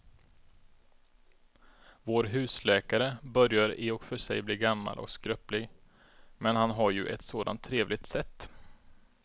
Vår husläkare börjar i och för sig bli gammal och skröplig, men han har ju ett sådant trevligt sätt!